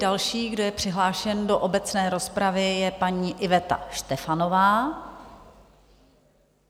Dalším, kdo je přihlášen do obecné rozpravy, je paní Iveta Štefanová.